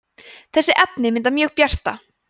þessi efni mynda mjög bjarta